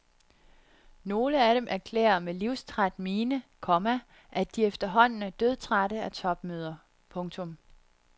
Nogle af dem erklærer med livstræt mine, komma at de efterhånden er dødtrætte af topmøder. punktum